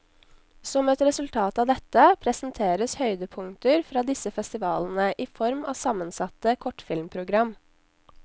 Som et resultat av dette, presenteres høydepunkter fra disse festivalene i form av sammensatte kortfilmprogram.